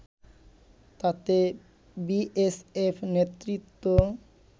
তাতে বিএসএফ নেতৃত্ব